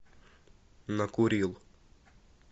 накурил